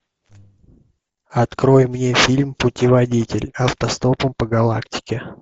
открой мне фильм путеводитель автостопом по галактике